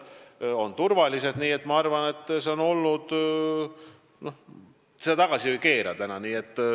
Nii et ma arvan, et seda, mis on olnud, nagunii tagasi ei keera.